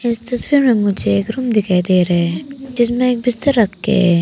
इस तस्वीर में मुझे एक रूम दिखाई दे रहे हैं जिसमें एक बिस्तर रखे हैं।